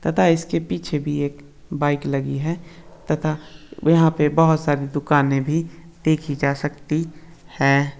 तथा इसके पीछे भी एक बाइक लगी है तथा यहाँ पे बहुत सारी दुकाने भी देखि जा सकती है।